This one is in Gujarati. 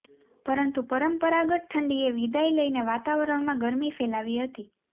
પરંતુ પરંપરાગત ઠંડીએ વિદાય લઇને વાતાવરણમાં ગરમી ફેલાવી હતી